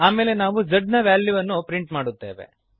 ಆಮೇಲೆ ನಾವು z ದ ವ್ಯಾಲ್ಯೂವನ್ನು ಪ್ರಿಂಟ್ ಮಾಡುತ್ತೇವೆ